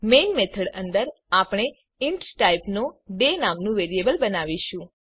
main method અંદર આપણે int ટાઇપનો ડે નામનું વેરિયેબલ બનાવીશું